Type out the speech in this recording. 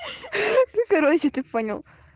хи хи короче ты понял